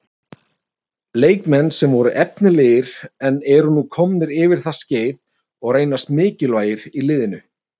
Leikmenn sem voru efnilegir en eru nú komnir yfir það skeið og reynast mikilvægir liðinu.